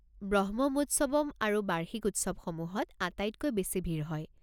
ব্ৰহ্মমোৎসৱম আৰু বাৰ্ষিক উৎসৱসমূহত আটাইতকৈ বেছি ভিৰ হয়।